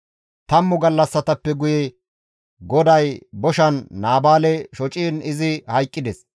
Tammu gallassatappe guye GODAY boshan Naabaale shociin izi hayqqides.